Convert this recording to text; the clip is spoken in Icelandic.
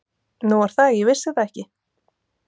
Nú er það, ég vissi það ekki.